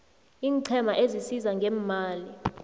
iinqhema ezisiza ngeemali